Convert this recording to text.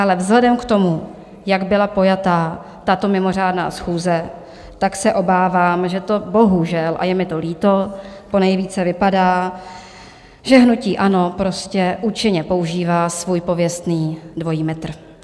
Ale vzhledem k tomu, jak byla pojata tato mimořádná schůze, tak se obávám, že to bohužel, a je mi to líto, ponejvíce vypadá, že hnutí ANO prostě účinně používá svůj pověstný dvojí metr.